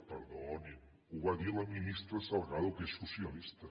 perdonin ho va dir la ministra salgado que és socialista